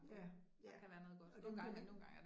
Ja, ja. Og den kan